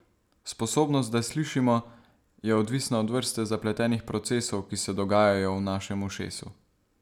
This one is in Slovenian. Sposobnost, da slišimo, je odvisna od vrste zapletenih procesov, ki se dogajajo v našem ušesu.